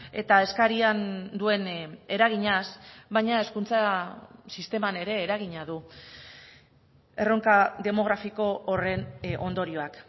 eta eskarian duen eraginaz baina hezkuntza sisteman ere eragina du erronka demografiko horren ondorioak